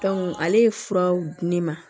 ale ye furaw di ne ma